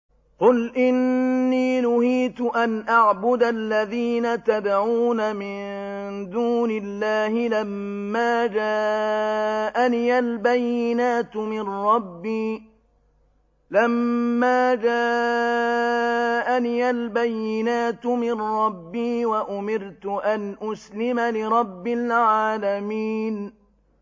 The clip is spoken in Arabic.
۞ قُلْ إِنِّي نُهِيتُ أَنْ أَعْبُدَ الَّذِينَ تَدْعُونَ مِن دُونِ اللَّهِ لَمَّا جَاءَنِيَ الْبَيِّنَاتُ مِن رَّبِّي وَأُمِرْتُ أَنْ أُسْلِمَ لِرَبِّ الْعَالَمِينَ